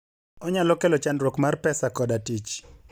onyalo kelo chandruok mar pesa koda tich